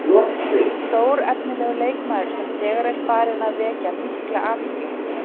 Stórefnilegur leikmaður sem þegar er farinn að vekja mikla athygli.